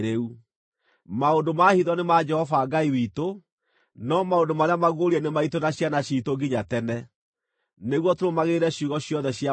Maũndũ ma hitho nĩ ma Jehova Ngai witũ, no maũndũ marĩa maguũrie nĩ maitũ na ciana ciitũ nginya tene, nĩguo tũrũmagĩrĩre ciugo ciothe cia watho ũyũ.